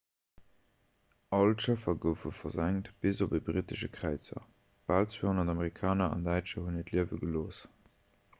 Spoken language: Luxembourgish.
all d'schëffer goufe versenkt bis op ee brittesche kräizer bal 200 amerikaner an däitscher hunn hiert liewe gelooss